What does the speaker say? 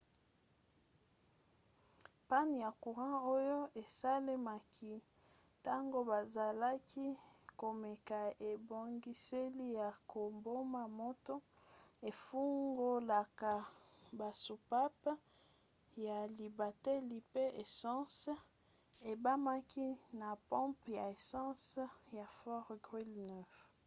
panne ya courant oyo esalemaki ntango bazalaki komeka ebongiseli ya koboma moto efungolaka basoupape ya libateli mpe essence ebimaki na pompe ya essence ya fort greely 9